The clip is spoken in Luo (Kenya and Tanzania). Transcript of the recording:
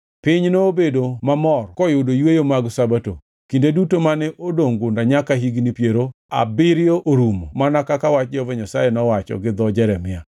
Piny nobedo mamor koyudo yweyone mag Sabato, kinde duto mane odongʼ gunda, nyaka higni piero abiriyo orumo mana kaka wach Jehova Nyasaye nowacho gi dho Jeremia.